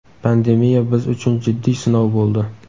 pandemiya biz uchun jiddiy sinov bo‘ldi.